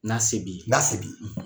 N'a se bi ye; N'a se bi ye;